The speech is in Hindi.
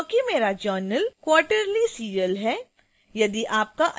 यह इसलिए क्योंकि मेरा जर्नल quarterly periodical serial है